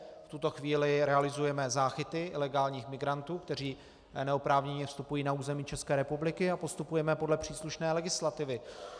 V tuto chvíli realizujeme záchyty ilegálních migrantů, kteří neoprávněně vstupují na území České republiky, a postupujeme podle příslušné legislativy.